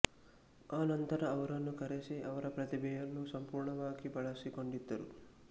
ಆ ನಂತರ ಅವರನ್ನು ಕರೆಸಿ ಅವರ ಪ್ರತಿಭೆಯನ್ನು ಸಂಪೂರ್ಣವಾಗಿ ಬಳಸಿಕೊಂಡಿದ್ದರು